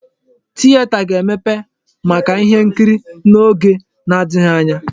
Tieta ga-emepe maka ihe nkiri n'oge na-adịghị anya.